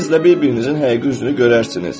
İkiniz də bir-birinizin həqiqi üzünü görərsiniz.